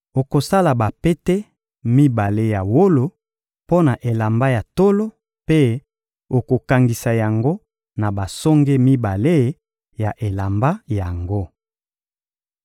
Okosala bapete mibale ya wolo mpo na elamba ya tolo mpe okokangisa yango na basonge mibale ya elamba yango.